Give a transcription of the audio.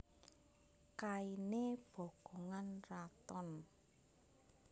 Kainé bokongan raton